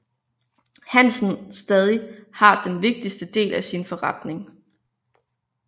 Hansen stadig har den vigtigste del af sin forretning